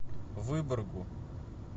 выборгу